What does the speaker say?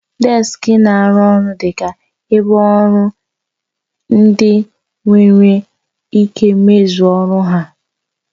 Deski na-arụ ọrụ dị ka ebe ọrụ ebe ndị ọrụ nwere ike mezue ọrụ ha.